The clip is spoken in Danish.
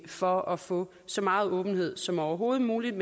for at få så meget åbenhed som overhovedet muligt